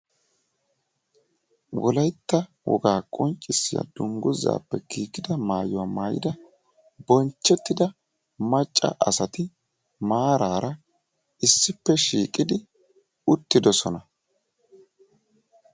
Wolaytta wogaa qonccissiya dungguzappe giigida maayyuwa maayyida bonchchetida macca asati issippe shiiqidi maarara uttidoosona.